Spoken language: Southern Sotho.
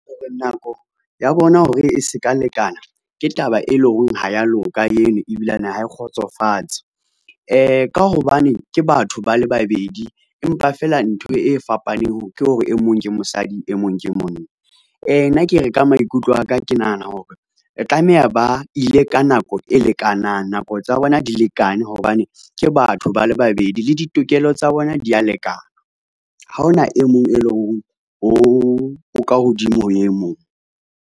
Nako ya bona hore e seka lekana ke taba e leng hore ha ya loka eno ebilane ha e kgotsofatse. Ka hobane ke batho bale babedi, empa fela ntho e fapaneng ke hore e mong ke mosadi e mong ke monna. Nna ke re ka maikutlo aka, ke nahana hore tlameha ba ile ka nako e lekanang. Nako tsa bona di lekane hobane ke batho ba le babedi le ditokelo tsa bona di ya lekana. Ha ona e mong e leng ho o ka hodimo ho e mong.